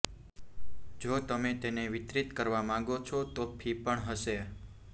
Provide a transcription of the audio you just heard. જો તમે તેને વિતરિત કરવા માંગો છો તો ફી પણ હશે